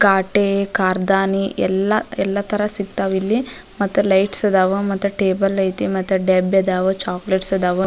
ಕಾಟೆ ಕಾರ್ದಾನಿ ಎಲ್ಲ ಎಲ್ಲ ತರ ಸಿಗ್ತಾವ್ ಇಲ್ಲಿ ಮತ್ತ ಲೈಟ್ಸ್ ಇದಾವು ಮತ್ತ ಟೇಬಲ್ ಐತಿ ಮತ್ತೆ ಡೆಬ್ಬೆದಾವು ಚೋಕ್ಲೇಟ್ಸ್ ಇದಾವು --